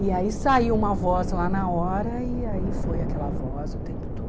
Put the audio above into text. E aí saiu uma voz lá na hora e aí foi aquela voz o tempo todo.